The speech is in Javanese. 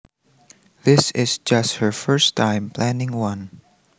This is just her first time planning one